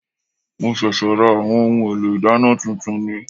Mo ṣẹ̀ṣẹ̀ ra àwọn ohun èlò ìdáná tuntun ni